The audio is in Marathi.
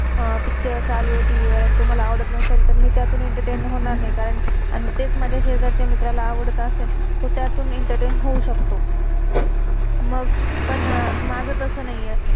पिक्च picture, चालुये टीवी tv वर, आणि तो मला आवडत नसेल तर, मे त्यातून एंटरटेन entertain होणार नाही. कारण, आणि तेच माझ्या शेजारच्या मित्राला आवडत असेल, तर तो त्यातून एंटरटेन entertain होऊ शकतो. मग~पण माझ तसं नाहीये.